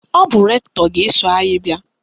Ọ bụ rektọ ga-eso anyị bịa.